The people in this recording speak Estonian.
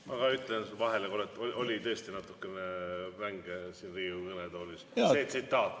Ma ütlen korraks vahele, et oli tõesti natukene vängelt öeldud siit Riigikogu kõnetoolist see tsitaat.